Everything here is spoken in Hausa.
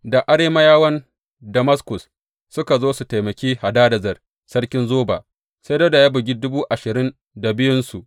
Da Arameyawan Damaskus suka zo su taimaki Hadadezer sarkin Zoba, sai Dawuda ya bugi dubu ashirin da biyunsu.